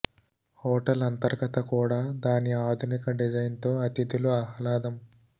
hotel అంతర్గత కూడా దాని ఆధునిక డిజైన్ తో అతిథులు ఆహ్లాదం